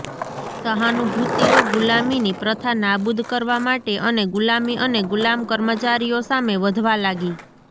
સહાનુભૂતિઓ ગુલામીની પ્રથા નાબૂદ કરવા માટે અને ગુલામી અને ગુલામ કર્મચારીઓ સામે વધવા લાગી